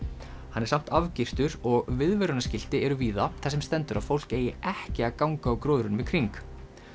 hann er samt og viðvörunarskilti eru víða þar sem stendur að fólk eigi ekki að ganga á gróðrinum í kring